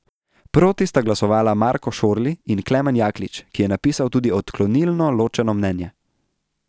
Proti sta glasovala Marko Šorli in Klemen Jaklič, ki je napisal tudi odklonilno ločeno mnenje.